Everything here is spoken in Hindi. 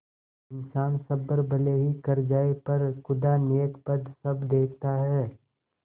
इन्सान सब्र भले ही कर जाय पर खुदा नेकबद सब देखता है